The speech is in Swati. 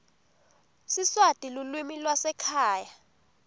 siswati lulwimi lwasekhaya